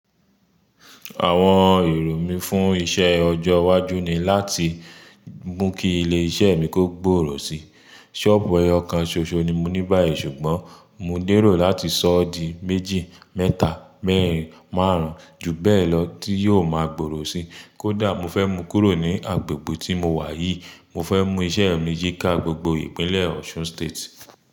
Àwọn èrò mí fún iṣẹ ọjọ́ iwájú ni láti mú kí ilé iṣẹ́ mi kó gbòòrò si. Sọ́ọ̀bù ọyàn kan ṣoṣo ni mo ní báyìí ṣùgbọ́n mo dèrò láti ṣọ́ ọ̀dín méjì, mẹ́ta, mẹ́rìn, márùn-ún ju bẹ́ẹ̀ lọ tí yóò máa gbòòrò si. Kódà mo fẹ́ mú kúrò ni agbègbè tí mo wà yìí, mo fẹ́ mú iṣẹ́ mi yí ká gbogbo ìpínlẹ̀ Osun State.